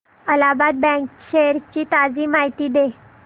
Allahabad bank shares ची ताजी माहिती दे